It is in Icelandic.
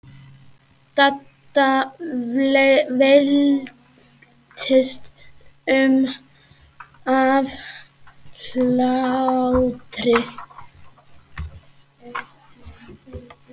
Dadda veltist um af hlátri.